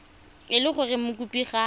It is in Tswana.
e le gore mokopi ga